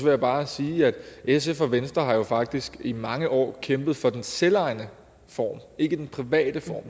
jeg bare sige at sf og venstre faktisk i mange år kæmpet for den selvejende form ikke den private form